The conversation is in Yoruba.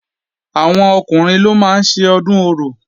Àwọn Ọkùnrin ló máa ń ṣe Ọdún Orò